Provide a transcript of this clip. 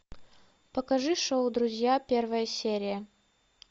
покажи шоу друзья первая серия